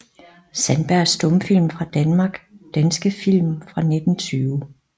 Sandberg Stumfilm fra Danmark Danske film fra 1920